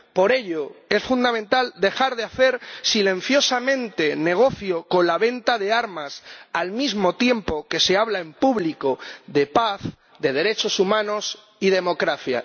Por ello, es fundamental dejar de hacer silenciosamente negocio con la venta de armas al mismo tiempo que se habla en público de paz, de derechos humanos y democracia.